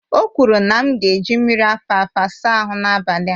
O kwuru na m ga-eji mmiri alfalfa saa ahu n'abalị a